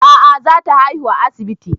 A'a za ta haihu a asibiti